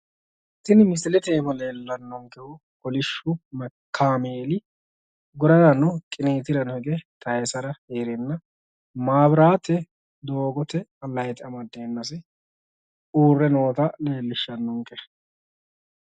tini misilete iima leellannokehu kolishshu kaameeli gurarano qiniitiranno hige taayisara hee'renna maabiraate woy doogote layiite amaddeennasi uurre noota leellishshannonke.